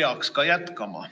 peaks ka jätkama.